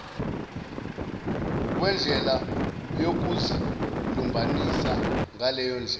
wendlela yokuzilumbanisa ngaleyondlela